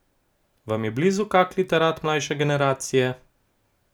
Vam je blizu kak literat mlajše generacije?